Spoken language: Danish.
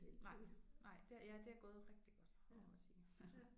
Nej nej det ja det er gået rigtig godt det må man sige